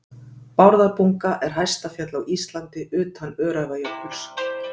Bárðarbunga er hæsta fjall á Íslandi utan Öræfajökuls.